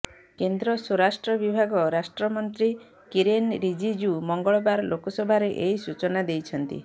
କେନ୍ଦ୍ର ସ୍ୱରାଷ୍ଟ୍ର ବିଭାଗ ରାଷ୍ଟ୍ରମନ୍ତ୍ରୀ କିରେନ୍ ରିଜିଜୁ ମଙ୍ଗଳବାର ଲୋକସଭାରେ ଏହି ସୂଚନା ଦେଇଛନ୍ତି